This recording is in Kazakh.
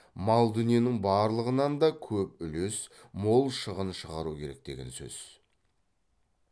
мал дүниенің барлығынан да көп үлес мол шығын шығару керек деген сөз